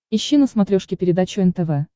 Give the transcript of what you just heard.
ищи на смотрешке передачу нтв